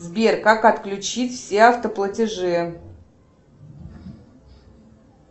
сбер как отключить все автоплатежи